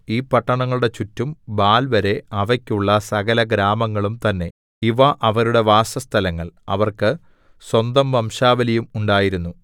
ഈ പട്ടണങ്ങളുടെ ചുറ്റും ബാൽവരെ അവയ്ക്കുള്ള സകലഗ്രാമങ്ങളും തന്നേ ഇവ അവരുടെ വാസസ്ഥലങ്ങൾ അവർക്ക് സ്വന്തവംശാവലിയും ഉണ്ടായിരുന്നു